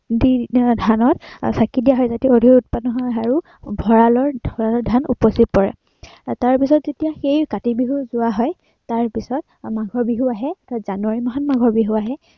দি ধানত আহ চাঁকি দিয়া হয় যাতে অধিক উৎপাদন হয় আৰু ভঁৰালৰ, ভঁৰালত ধান উপচি পৰে। তাৰপিছত যেতিয়া সেই কাতি বিহু যোৱা হয়, তাৰপিছত মাঘৰ বিহু আহে, আহ জানুৱাৰী মাহত মাঘৰ বিহু আহে